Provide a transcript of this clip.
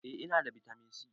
Eh ina da bitamin si